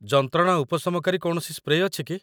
ଯନ୍ତ୍ରଣା ଉପଶମକାରୀ କୌଣସି ସ୍ପ୍ରେ ଅଛି କି?